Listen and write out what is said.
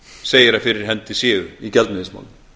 segir að fyrir hendi séu í gjaldmiðilsmálum